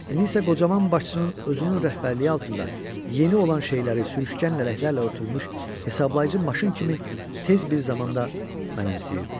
İndi isə qocaman başçının özünün rəhbərliyi altında yeni olan şeyləri sürüşkən lələklərlə örtülmüş hesablayıcı maşın kimi tez bir zamanda mənimsəyirdi.